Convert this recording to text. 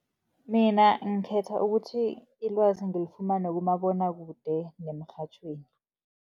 Mina ngikhetha ukuthi ilwazi ngilifumane kumabonwakude nemirhatjhweni.